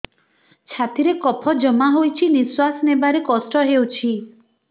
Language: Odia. ଛାତିରେ କଫ ଜମା ହୋଇଛି ନିଶ୍ୱାସ ନେବାରେ କଷ୍ଟ ହେଉଛି